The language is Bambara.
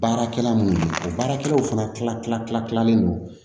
Baarakɛla minnu o baarakɛlaw fana kilalen don